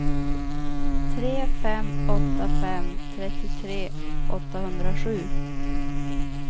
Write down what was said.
tre fem åtta fem trettiotre åttahundrasju